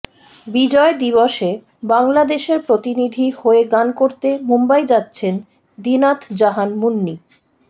বিজয় দিবসে বাংলাদেশের প্রতিনিধি হয়ে গান করতে মুম্বাই যাচ্ছেন দিনাত জাহান মুন্নি